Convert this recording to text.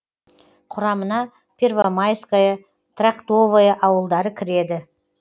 құрамына первомайское трактовое ауылдары кіреді